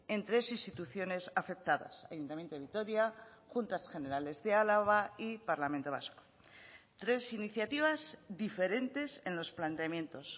en tres instituciones afectadas ayuntamiento de vitoria juntas generales de álava y parlamento vasco tres iniciativas diferentes en los planteamientos